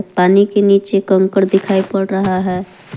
पानी के नीचे कंकड़ दिखाई पड़ रहा है।